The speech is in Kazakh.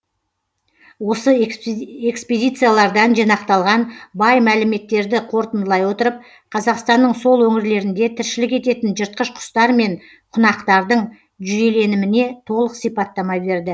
осы экспедициялардан жинақталған бай мәліметтерді қорытындылай отырып қазақстанның сол өңірлерінде тіршілік ететін жыртқыш құстар мен құнақтардың жүйеленіміне толық сипаттама берді